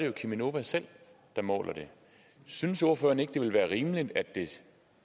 er cheminova selv der måler det synes ordføreren ikke det ville være rimeligt at det